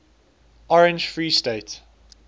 orange free state